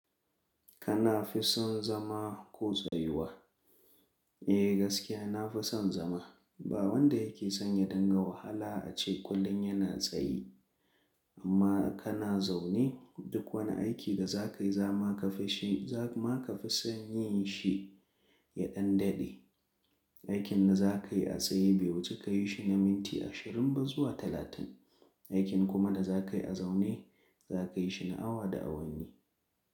Kana fi son zama ko tsayuwa? Eh gaskiya na fison zama. Ba wanda yake son ya dunga wahala ace kullum yana tsaye. Amma kana zaune duk wani aiki da za ka yi za ma ka fi son yi shi ya ɗan daɗe. Aikin da za ka yi a tsaye baiwuce ka yi shi na minti ashirin ba zuwa talatin. Aikin kuma da za ka yi a zaune za ka yi shi na awa da awanni.